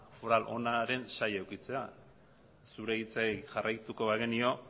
foral onaren zail edukitzea zure hitzei jarraituko bagenio